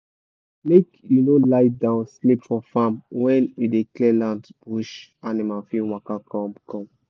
make you no lie down sleep for farm when you dey clear land bush animal fit waka come come